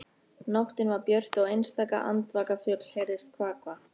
Nóttin var björt og einstaka andvaka fugl heyrðist kvaka.